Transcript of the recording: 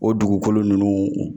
O dugukolo nunnu